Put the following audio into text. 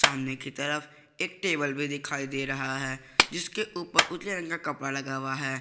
सामने की तरफ एक टेबल भी दिखाई दे रहा है जिसके ऊपर उजले रंग का कपड़ा लगा हुआ है।